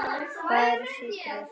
Hvað eru sykrur?